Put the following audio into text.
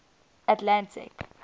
atlantic